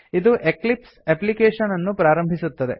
ಇದು Eclipse application ಅನ್ನು ಪ್ರಾರಂಭಿಸುತ್ತದೆ